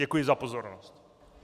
Děkuji za pozornost.